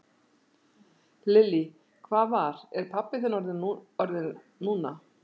Lillý: Hvað var, er pabbi þinn orðinn núna?